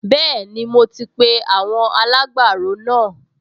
Bẹ́ẹ̀ni, mo ti pe àwọn alágbàro náà